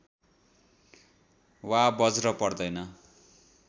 वा बज्र पर्दैन